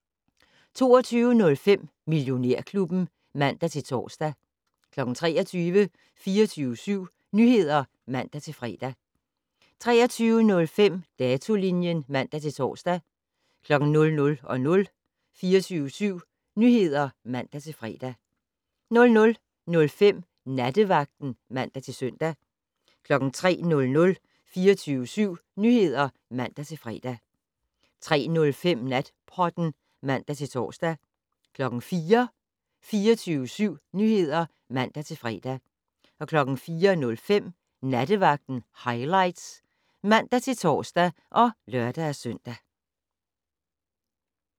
22:05: Millionærklubben (man-tor) 23:00: 24syv Nyheder (man-fre) 23:05: Datolinjen (man-tor) 00:00: 24syv Nyheder (man-fre) 00:05: Nattevagten (man-søn) 03:00: 24syv Nyheder (man-fre) 03:05: Natpodden (man-tor) 04:00: 24syv Nyheder (man-fre) 04:05: Nattevagten Highlights (man-tor og lør-søn)